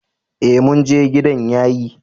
Ee mun je, gidan yayi.